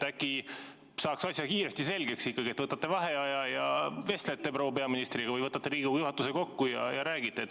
Äkki saaks asja kiiresti selgeks, et võtate vaheaja ja vestlete proua peaministriga või võtate Riigikogu juhatuse kokku ja räägite.